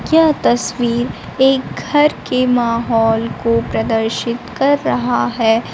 यह तस्वीर एक घर के माहौल को प्रदर्शित कर रहा है।